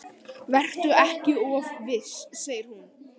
Vertu ekki of viss, segir hún.